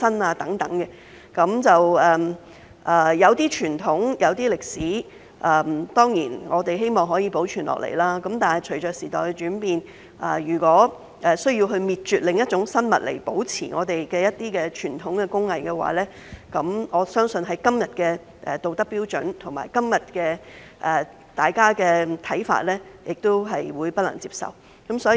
我們當然希望一些傳統和歷史可以保存，但隨着時代變遷，如果我們需要滅絕另一種生物來保存傳統工藝，我相信，根據今日的道德標準和大家的看法，是不能接受的。